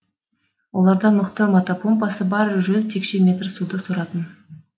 оларда мықты мотопомпасы бар жүз текше метр суды соратын